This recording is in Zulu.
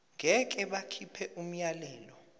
ngeke bakhipha umyalelo